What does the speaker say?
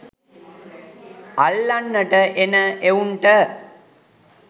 අල්ලන්ට එන එවුන්ට